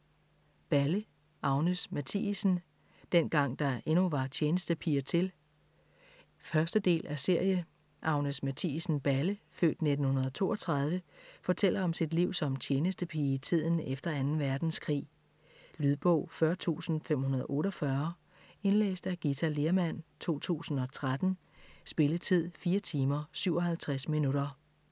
Balle, Agnes Mathiesen: Dengang der endnu var tjenestepiger til 1. del af serie. Agnes Mathiesen Balle (f. 1932) fortæller om sit liv som tjenestepige i tiden efter 2. verdenskrig. Lydbog 40548 Indlæst af Githa Lehrmann, 2013. Spilletid: 4 timer, 57 minutter.